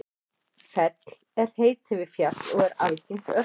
fell er heiti yfir fjall og er algengt örnefni